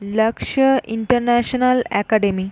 লক্সা international academy. .